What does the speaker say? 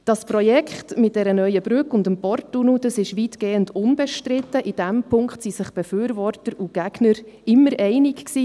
Das Projekt mit der neuen Brücke und dem Porttunnel ist weitgehend unbestritten, in diesem Punkt waren sich die Befürworter und Gegner immer einig.